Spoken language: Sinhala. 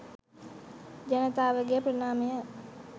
ජනතාවගේ ප්‍රණාමය.